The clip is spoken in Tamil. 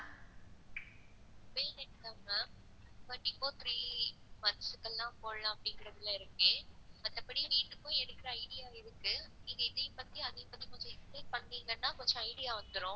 Ma'am கண்டிப்பா three months க்குலா போடலாம் அப்படின்ட்டு இருக்கேன், மத்தபடி வீட்டுக்கும் எடுக்குற idea இருக்கு. நீங்க இதையும் பத்தி அதையும் பத்தி கொஞ்சம் explain பண்ணிணீங்கன்னா கொஞ்சம் idea வந்துடும்.